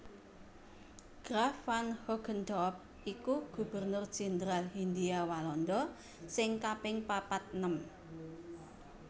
Graaf van Hogendorp iku Gubernur Jendral Hindhia Walanda sing kaping papat enem